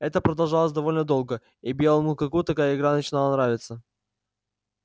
это продолжалось довольно долго и белому клыку такая игра начинала нравиться